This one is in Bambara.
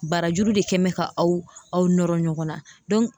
Barajuru de kɛ mɛ ka aw nɔrɔ ɲɔgɔn na